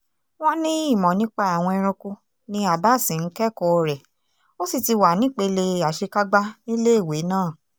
wọ́n ní ìmọ̀ nípa àwọn ẹranko ni abas ń kẹ́kọ̀ọ́ rẹ̀ ó sì ti wà nípele àṣekágbá níléèwé náà